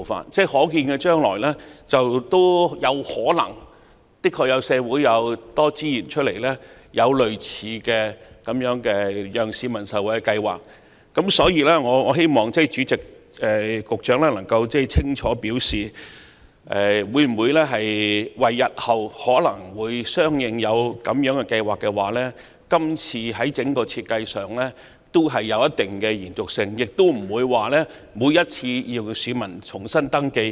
社會在可見的將來確有可能仍有剩餘的資源，讓政府推出類似的惠民計劃。因此，主席，我希望局長能夠清楚表示，可否因應日後仍可能推出類似的計劃，在今次的系統設計提供一定的延續性，讓市民不必每次也要重新登記？